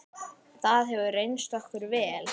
Það hefur reynst okkur vel.